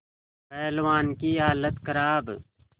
पहलवान की हालत खराब